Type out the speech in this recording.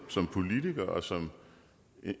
som politiker og som